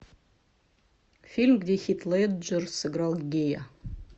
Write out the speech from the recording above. фильм где хит леджер сыграл гея